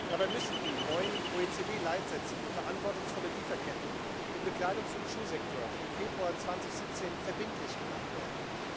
Dabei müssen die neuen OECD Leitsätze für verantwortungsvolle Lieferketten im Bekleidungs und Schuhsektor vom Februar 2017 verbindlich gemacht werden.